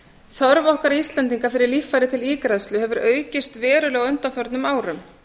þörf okkar íslendinga fyrir líffæri til ígræðslu hefur aukist verulega á undanförnum árum